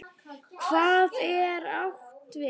Hvað er átt við?